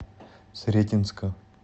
сретенска